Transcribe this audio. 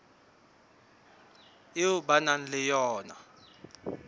eo ba nang le yona